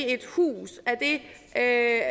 et hus er